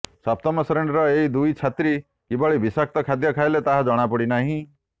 ସପ୍ତମ ଶ୍ରେଣୀର ଏହି ଦୁଇ ଛାତ୍ରୀ କିଭଳି ବିଷାକ୍ତ ଖାଦ୍ୟ ଖାଇଲେ ତାହା ଜଣାପଡ଼ିନାହିଁ